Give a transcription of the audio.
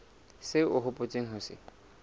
seo o hopotseng ho se